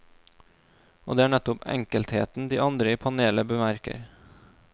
Og det er nettopp enkelheten de andre i panelet bemerker.